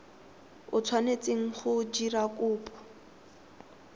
o tshwanetseng go dira kopo